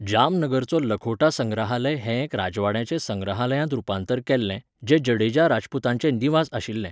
जामनगरचो लखोटा संग्रहालय हें एक राजवाड्याचें संग्रहालयांत रुपांतर केल्लें, जें जडेजा राजपूतांचें निवास आशिल्लें.